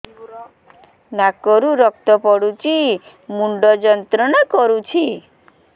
ନାକ ରୁ ରକ୍ତ ପଡ଼ୁଛି ମୁଣ୍ଡ ଯନ୍ତ୍ରଣା କରୁଛି